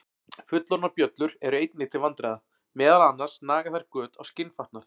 Fullorðnar bjöllur eru einnig til vandræða, meðal annars naga þær göt á skinnfatnað.